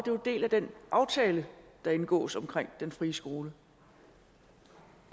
jo en del af den aftale der indgås omkring den frie skole